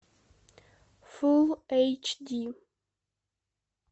фулл эйч ди